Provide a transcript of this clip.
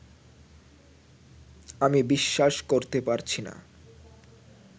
আমি বিশ্বাস করতে পারছি না